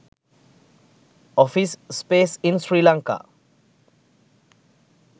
office space in sri lanka